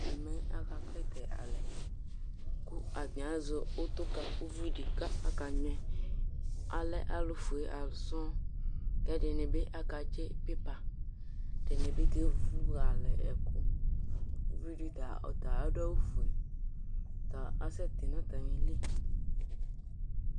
Ɛmɛ aka klitɛ alɛ Ku atani azɛ utu ku uʋiɖi, ku aka ŋuɛ Alɛ alufue ãlu sɔŋ Ku ɛɖinibi aka tsi pipa Ɛɖinibi kevu alɛ ɛku Uʋiɖi ta, ɔta aɖu awu fue Ɔta asɛ ti nu atami li